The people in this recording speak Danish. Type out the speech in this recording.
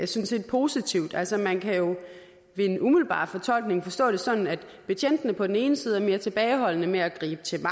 set positivt altså man kan ved en umiddelbar fortolkning forstå det sådan at betjentene på den ene side er mere tilbageholdende med at gribe til